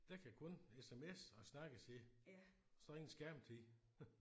Den kan kun SMS'e og snakkes i. Så ingen skærmtid